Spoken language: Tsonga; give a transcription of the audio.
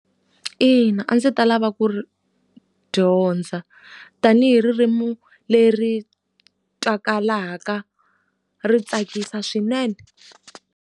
Ina, a ndzi ta lava ku ri dyondza. Tanihi ririmi leri twakalaka ri tsakisa swinene.